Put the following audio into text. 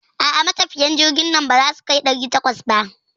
A'a, matafiyan jirgin nan baza su kai ɗari takwas ba.